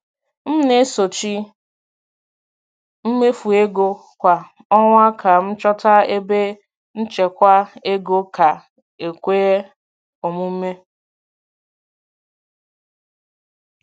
M na-esochi mmefu ego kwa ọnwa ka m chọta ebe nchekwa ego ga-ekwe omume.